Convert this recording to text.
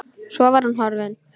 Svo var hún horfin.